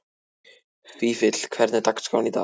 Vífill, hvernig er dagskráin í dag?